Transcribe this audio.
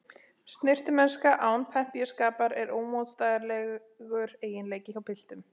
Snyrtimennska án pempíuskapar er ómótstæðilegur eiginleiki hjá piltum.